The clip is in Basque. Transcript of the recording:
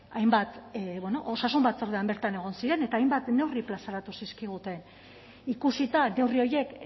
hainbat bueno osasun batzordean bertan egon ziren eta hainbat neurri plazaratu zizkiguten ikusita neurri horiek